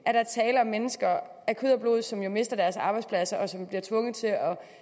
der er tale om mennesker af kød og blod som jo mister deres arbejdspladser og som bliver tvunget til